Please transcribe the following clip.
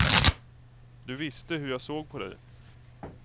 Du visste hur jag såg på dig.